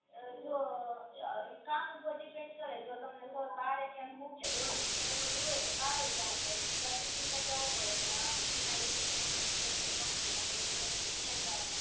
અ જો કામ ઉપર ડીપેન્ડ કરે જો તમને બારે ક્યાંક મોકલે ઓડિટ ને એવું બધુ હોય તો બારે જવું પડે બીજા સિટી માય જવું પડે ને એના ઇ સિટી માં બીજી જગ્યાએ કંપની માં બધે મોકલે ઇયાય જાવાનું